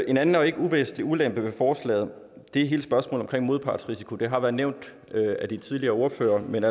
en anden og ikke uvæsentlig ulempe ved forslaget er hele spørgsmålet omkring modpartsrisiko det har været nævnt af de tidligere ordførere men